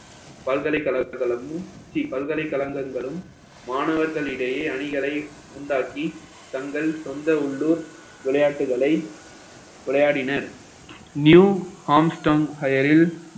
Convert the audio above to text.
பல்கலைக்கழகமும் ஸ்ரீ பல்கலைக்கழகங்களும் மாணவர்களிடையே அணிகளை உண்டாக்கி தங்கள் சொந்த உள்ளூர் விளையாட்டுகளை விளையாடினர் new armstong higher இல்